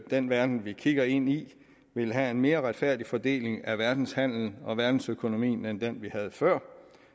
den verden vi kigger ind i vil have en mere retfærdig fordeling af verdenshandelen og verdensøkonomien end den vi havde før